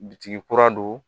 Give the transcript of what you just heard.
Bitigi kura don